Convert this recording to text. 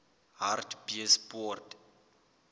hartbeespoort